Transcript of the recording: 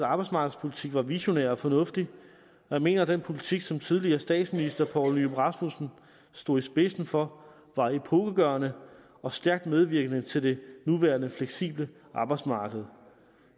arbejdsmarkedspolitik var visionær og fornuftig og jeg mener at den politik som tidligere statsminister poul nyrup rasmussen stod i spidsen for var epokegørende og stærkt medvirkende til det nuværende fleksible arbejdsmarked